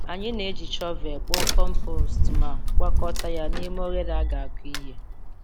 Anyị na-eji shọvel kpoo compost ma gwakọta ya n’ime oghere a ga-akụ ihe.